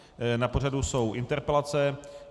Na pořadu jsou interpelace.